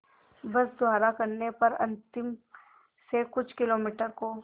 बस द्वारा करने पर अंतिम से कुछ किलोमीटर को